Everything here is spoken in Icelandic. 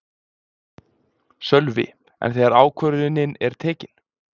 Sölvi: En þegar ákvörðunin er tekin?